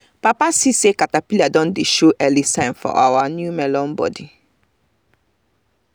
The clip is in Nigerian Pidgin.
papa see say caterpillar don dey show early sign for our melon body